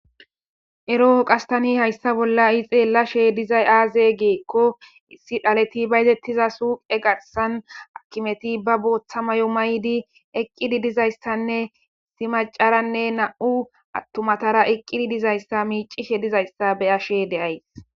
eroo qas tani hayssa bolla ha'i xeellashe dizay aaze giikko issi dhaleti ba yetettiza suuqe garsan akimeti ba booththa mayo maydi eqqidi dizayssanne simacaranne na7u attumatara iqqidi dizayssa miicishe dizayssa beyashe de'ays